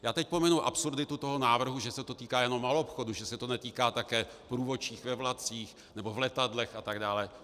Já teď pominu absurditu toho návrhu, že se to týká jenom maloobchodu, že se to netýká také průvodčích ve vlacích nebo v letadlech atd.